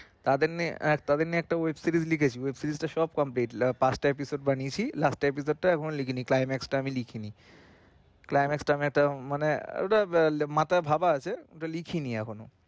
তাদের নিয়ে আহ তাদের নিয়ে একটা web series লিখেছি web series টা সব complete পাঁচটা episode বানিয়েছি last episode টা লিখিনি climax টা আমি লিখিনি climax টা আমি একটা মানে ওটা মাথায় ভাবা আছে কিন্তু লিখিনি এখনো।